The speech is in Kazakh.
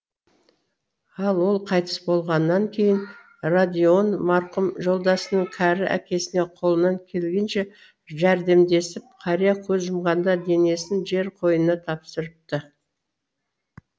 ал ол қайтыс болғаннан кейін родион марқұм жолдасының кәрі әкесіне қолынан келгенше жәрдемдесіп қария көз жұмғанда денесін жер қойнына тапсырыпты